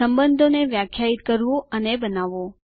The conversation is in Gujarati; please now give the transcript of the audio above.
સંબંધો ને વ્યાખ્યાયિત કરવું અને બનાવવું